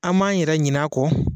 An b'an yɛrɛ ɲin'a kɔ.